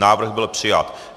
Návrh byl přijat.